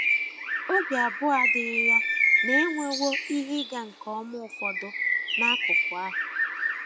Obi abụọ adịghị ya na e nwewo ihe ịga nke ọma ụfọdụ n’akụkụ ahụ.